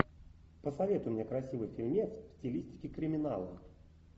посоветуй мне красивый фильмец в стилистике криминала